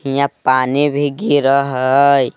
हियाँ पानी भी गिरअ हई।